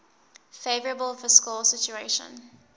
favourable fiscal situation